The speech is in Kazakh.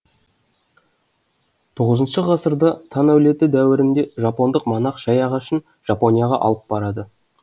іх ғасырда тан әулеті дәуірінде жапондық монах шай ағашын жапонияға алып барады